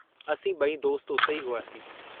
असीं बई दोस्त उते ई हुआसीं।